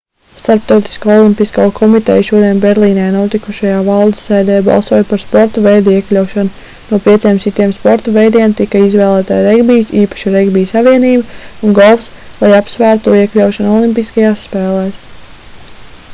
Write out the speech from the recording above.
starptautiskā olimpiskā komiteja šodien berlīnē notikušajā valdes sēdē balsoja par sporta veidu iekļaušanu no pieciem citiem sporta veidiem tika izvēlēti regbijs īpaši regbija savienība un golfs lai apsvērtu to iekļaušanu olimpiskajās spēlēs